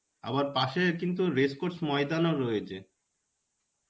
আবার পাশে কিন্তু Race Course ময়দানও রয়েছে.